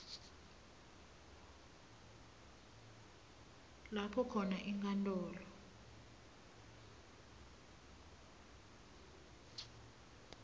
lapho khona inkantolo